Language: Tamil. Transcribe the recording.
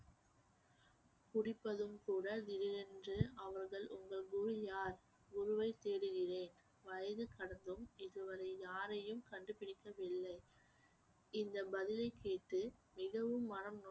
குடிப்பதும் கூட அவர்கள் உங்கள் குரு யார் குருவைத் தேடுகிறேன் வயசு கடந்தும் இதுவரை யாரையும் கண்டுபிடிக்கவில்லை இந்த பதிலைக் கேட்டு மிகவும் மனம்